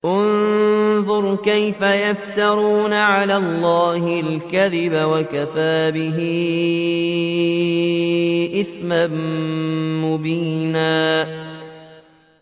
انظُرْ كَيْفَ يَفْتَرُونَ عَلَى اللَّهِ الْكَذِبَ ۖ وَكَفَىٰ بِهِ إِثْمًا مُّبِينًا